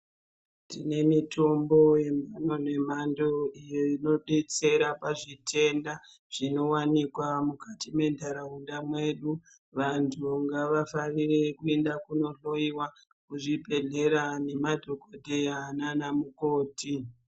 Tine mitombo inodetsera yemhando nemhando inodetsera pazvitenda zvinowanikwa mukati mwentaraunda mwedu, vantu ngavafarire kuenda kunohloyiwa kuzvibhedhleya nemadhokodheya nanamukoti.